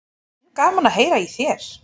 En gaman að heyra í þér.